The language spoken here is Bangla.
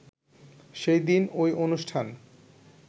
সেদিন ঐ অনুষ্ঠান